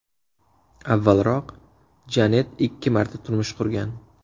Avvalroq Janet ikki marta turmush qurgan.